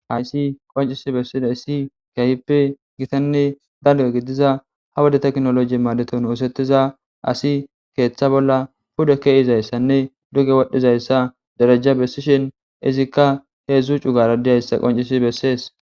hayssi qoncisi bessida issi keahipi gitanne dalge gidiza ha wade teknoloji maadeton oosettiza asi keeththa bolla pude keeizayssanne duge wodhdhizayssa derajja bessishin izikka heedzdzu cugara diyayssa qoncisi bessees